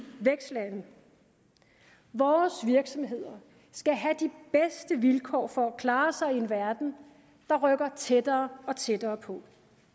vækstlande vores virksomheder skal have de bedste vilkår for at klare sig i en verden der rykker tættere og tættere på